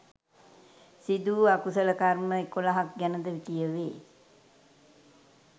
සිදු වූ අකුසල කර්ම එකොළහක් ගැන ද කියවේ.